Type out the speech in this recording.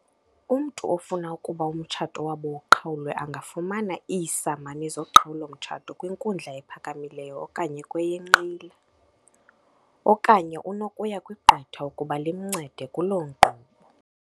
"Umntu ofuna ukuba umtshato wabo uqhawulwe angafumana iisamani zoqhawulo-mtshato kwinkundla ephakamileyo okanye kweyenqila, okanye unokuya kwigqwetha ukuba limncede kulo nkqubo."